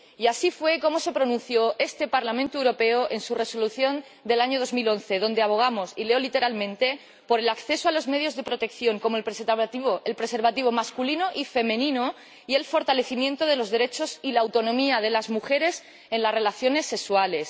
Y así fue como se pronunció este Parlamento Europeo en su Resolución del año 2011, donde abogamos —y leo literalmente— por el acceso a los medios de protección como el preservativo masculino y el femenino, y el fortalecimiento de los derechos y la autonomía de las mujeres en las relaciones sexuales.